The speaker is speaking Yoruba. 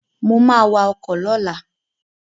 Mo ma wa ọkọ̀ lọ́la